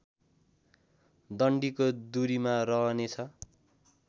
डन्डीको दुरीमा रहनेछ